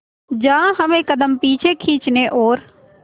जहां हमें कदम पीछे खींचने और